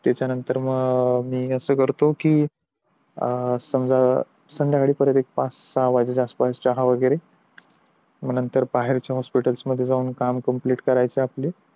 त्याच्या नंतर मी असं करतो कि समझा संध्याकाळी परत एकदा पाच सहा च्या आसपास चहा वैगेरे मग नंतर बाहेरच्या हॉस्पिटल जाऊन काम कंप्लिट करायचे आपले